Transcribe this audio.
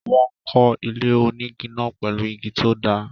Wọ́n ko ilé onígi náà pèlú igi tó dáa